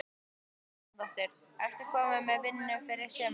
Helga Arnardóttir: Ert þú komin með vinnu fyrir sumarið?